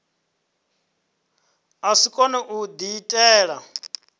a si kone u diitela